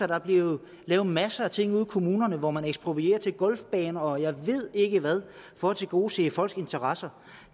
der bliver lavet masser af ting ude i kommunerne hvor man eksproprierer til golfbaner og jeg ved ikke hvad for at tilgodese folks interesser